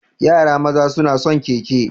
Yara maza suna son keke.